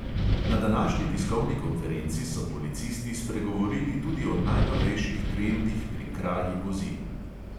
Na današnji tiskovni konferenci so policisti spregovorili tudi o najnovejših trendih pri kraji vozil.